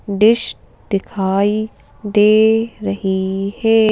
Dish दिखाई दे रही है।